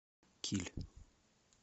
киль